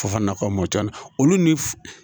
Fo ka nafa mɔtɛri olu ni f